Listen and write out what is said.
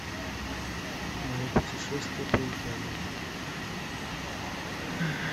мое путешествие по италии